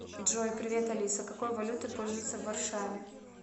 джой привет алиса какой валютой пользуются в варшаве